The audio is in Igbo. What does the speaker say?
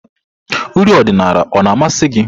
uri ọdịnala o na-amasị gị?